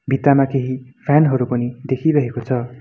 भित्तामा केही फ्यान हरू पनि देखिरहेको छ।